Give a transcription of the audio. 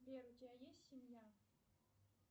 сбер у тебя есть семья